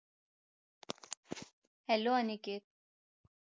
hello Aniket